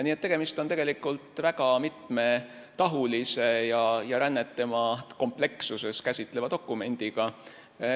Nii et tegemist on väga mitmetahulise ja rännet tema komplekssuses käsitleva dokumendiga.